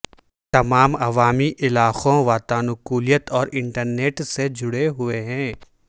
تمام عوامی علاقوں واتانکولیت اور انٹرنیٹ سے جڑے ہوئے ہیں